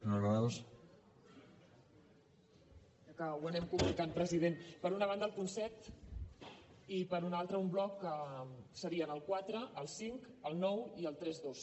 crec que ho anem complicant president per una banda el punt set i per una altra un bloc que serien el quatre el cinc el nou i el trenta dos